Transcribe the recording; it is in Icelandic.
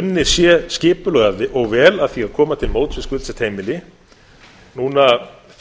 unnið sé skipulega og vel að því að koma til móts við skuldsett heimili núna